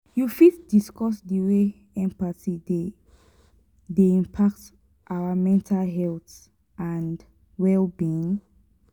you fit discuss di way empathy dey dey impact our mental health and well-being?